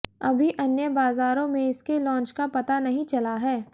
अभी अन्य बाज़ारों में इसके लॉन्च का पता नहीं चला है